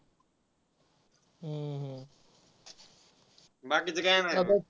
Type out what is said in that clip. बाकीच काही नाही येणार?